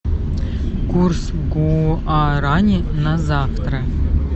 курс гуарани на завтра